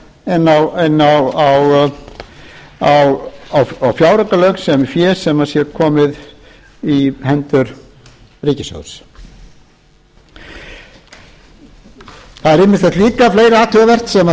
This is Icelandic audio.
að greiða neitt sem á að fara að færa inn á fjáraukalög sem sem sé komið í hendur ríkissjóðs það er ýmislegt fleira líka athugavert sem